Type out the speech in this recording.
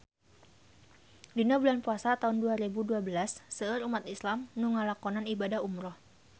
Dina bulan Puasa taun dua rebu dua belas seueur umat islam nu ngalakonan ibadah umrah